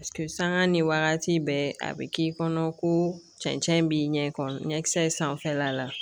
sanga ni wagati bɛɛ a bi k'i kɔnɔ ko cɛncɛn b'i ɲɛ kɔrɔ ɲɛkisɛ in sanfɛla la